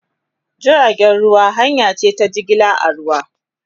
Jirgin ruwa hanya ce ta jigilar a ruwa